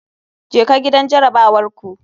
Jeka gidan jarabawar ku.